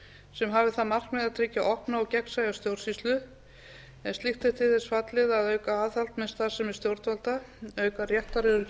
sem hafi það markmið að tryggja opna og gegnsæja stjórnsýslu en slíkt er til þess fallið að auka aðhald með starfsemi stjórnvalda auka réttaröryggi